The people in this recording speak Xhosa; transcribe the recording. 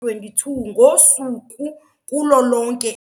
22 ngosuku kulo lonke.